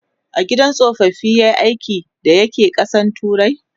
a gidan tsofaffi yayi aiki da ya ke ƙasan turai?